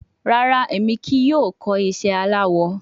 Rara, Emi kii yoo kọ iṣẹ alawọ